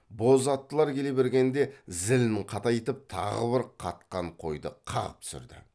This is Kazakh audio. боз аттылар келе бергенде зілін қатайтып тағы бір қатқан қойды қағып түсірді